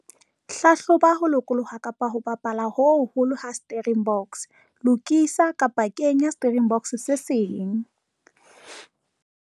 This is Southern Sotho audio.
Hlahloba ho lokoloha kapa ho bapala ho hoholo ha steering box - lokisa kapa kenya steering box se seng.